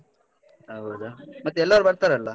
ಹೌದ, ಮತ್ತ್ ಎಲ್ಲರು ಬರ್ತರಲ್ಲ?